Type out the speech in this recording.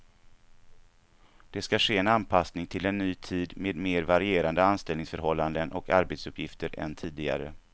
Det ska ge en anpassning till en ny tid med mer varierande anställningsförhållanden och arbetsuppgifter än tidigare.